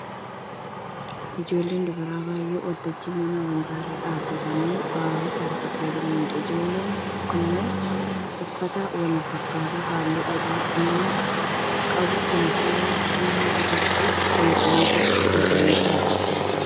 Ijoollee dubaraa baay'ee waltajjii mana amantaa irra dhaabbatanii faaruu faarfachaa jiraniidha. Ijoolleen kunneen uffata wal fakkaataa halluu adii fi diimaa qabu kan suuraan fannoo irratti boocamee jira uffatanii dhaabbachaa jiru.